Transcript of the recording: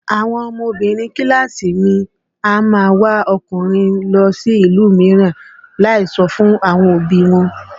Àwọn ọmọbinrin kíláàsì mi a máa wá ọkùnrin lọ sí ìlú mìíràn láì sọ fún àwọn òbí i wọn